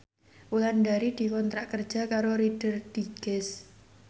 Wulandari dikontrak kerja karo Reader Digest